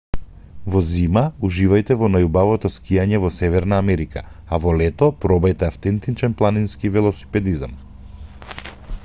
во зима уживајте во најубавото скијање во северна америка а во лето пробајте автентичен планински велосипедизам